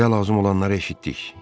Bizə lazım olanları eşitdik.